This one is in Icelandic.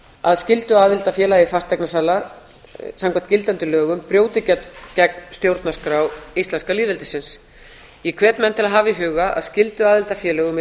að skylduaðild að félagi fasteignasala samkvæmt gildandi lögum brjóti gegn stjórnarskrá íslenska lýðveldisins ég hvet menn til að hafa í huga að skylduaðild að félögum er